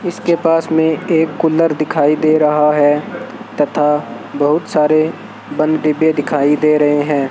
इसके पास में एक कूलर दिखाई दे रहा है तथा बहुत सारे बंद डब्बे दिखाई दे रहे हैं।